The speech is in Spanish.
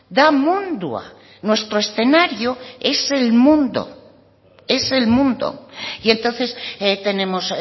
da mundua nuestro escenario es el mundo es el mundo y entonces tenemos